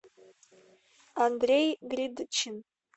андрей гридчин